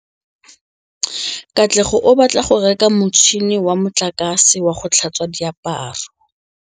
Katlego o batla go reka motšhine wa motlakase wa go tlhatswa diaparo.